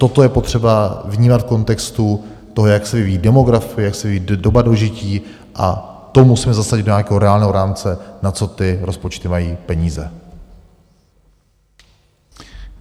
Toto je potřeba vnímat v kontextu toho, jak se vyvíjí demografie, jak se vyvíjí doba dožití, a to musíme zasadit do nějakého reálného rámce, na co ty rozpočty mají peníze.